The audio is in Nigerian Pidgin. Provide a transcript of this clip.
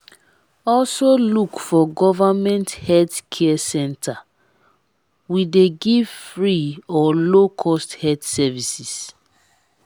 also look for government health care center we de give free or low cost health services